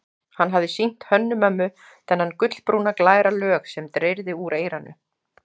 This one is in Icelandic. Hann hafði sýnt Hönnu-Mömmu þennan gulbrúna, glæra lög sem dreyrði úr eyranu.